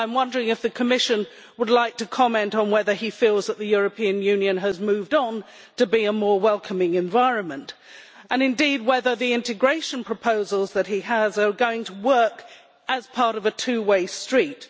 Would the Commission like to comment on whether he feels that the European Union has moved on to become a more welcoming environment, or indeed whether the integration proposals that he has are going to work as part of a two way street?